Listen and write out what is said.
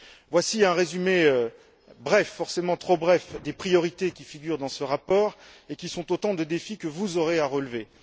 Voici un résumé bref, forcément trop bref, des priorités qui figurent dans ce rapport et qui sont autant de défis que vous aurez à relever.